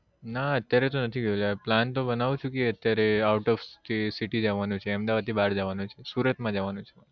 ના અત્યારે તો નથી ગયો yaar plan તો બનાવું છું કે અત્યારે out of city જવાનું છે અહમદાવાદ થી બાર જવાનું છે સુરત માં જવાનું છે